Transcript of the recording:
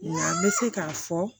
Wa n bɛ se k'a fɔ